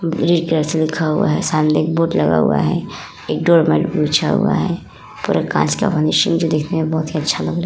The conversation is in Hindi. लिखा हुआ है। सामने एक बोर्ड लगा हुआ है। एक डोर मेट बिछा हुआ है। पूरा कांच का फिनिसिंग जो दिखने मे बोहोत ही अच्छा लग रहा है।